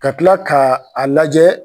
Ka kila ka a lajɛ.